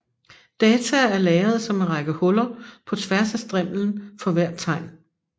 Data er lagret som en række huller på tværs af strimlen for hvert tegn